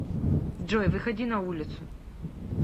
джой выходи на улицу